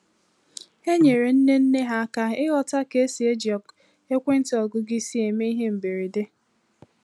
Ha nyeere nne nne ha aka ịghọta ka esi eji ekwentị ọgụgụ isi eme ihe mberede.